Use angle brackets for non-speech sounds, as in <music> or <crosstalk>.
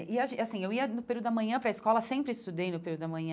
E, <unintelligible> assim, eu ia no período da manhã para a escola, sempre estudei no período da manhã,